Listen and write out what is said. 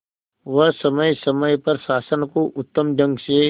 वह समय समय पर शासन को उत्तम ढंग से